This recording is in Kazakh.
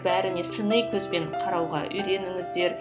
бәріне сыни көзбен қарауға үйреніңіздер